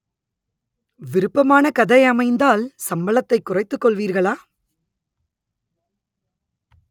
விருப்பமான கதை அமைந்தால் சம்பளத்தை குறைத்துக் கொள்வீர்களா